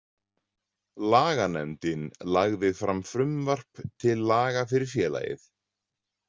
Laganefndin lagði fram frumvarp til laga fyrir félagið.